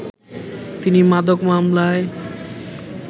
তিনি মাদক মামলায়